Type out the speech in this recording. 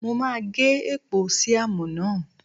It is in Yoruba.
Mo máa gé èpò síámù náà.